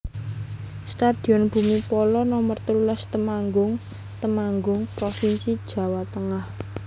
Stadion Bhumi Phala Nomer telulas Temanggung Temanggung provinsi Jawa Tengah